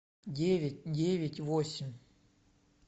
девять девять восемь